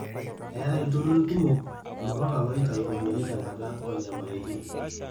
eetai ilturrurri kumok mbaka ilooitau iropiyiani tenkata oonyamalitin